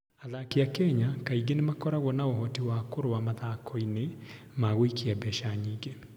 Athaki a Kenya kaingĩ nĩ makoragwo na ũhoti wa kũrũa mathako-inĩ ma gũikia mbeca nyingĩ.